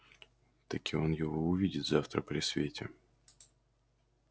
таки он его увидит завтра при свете